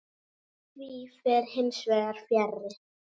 Því fer hins vegar fjarri.